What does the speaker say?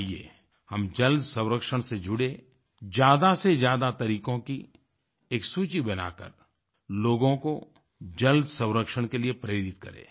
आइये हम जल संरक्षण से जुड़ें ज्यादा से ज्यादा तरीकों की एक सूची बनाकर लोगों को जल संरक्षण के लिए प्रेरित करें